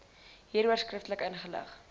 hieroor skriftelik ingelig